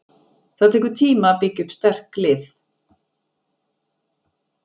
Það tekur tíma að byggja upp sterk lið.